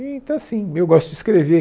Então, assim, eu gosto de escrever.